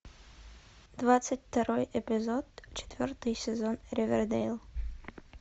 двадцать второй эпизод четвертый сезон ривердейл